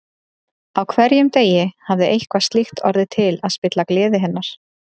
Á hverjum degi hafði eitthvað slíkt orðið til að spilla gleði hennar.